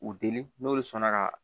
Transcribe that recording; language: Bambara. U deli n'olu sɔnna ka